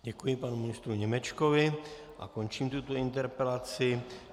Děkuji panu ministru Němečkovi a končím tuto interpelaci.